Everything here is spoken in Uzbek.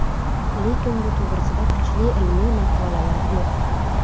Lekin bu to‘g‘risida kuchli ilmiy maqolalar yo‘q.